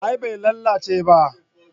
a'a bai lalace ba